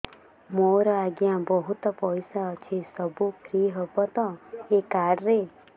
ମୋର ଆଜ୍ଞା ବହୁତ ପଇସା ଅଛି ସବୁ ଫ୍ରି ହବ ତ ଏ କାର୍ଡ ରେ